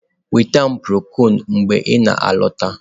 Nweta m prokol mgbe m na-alọta.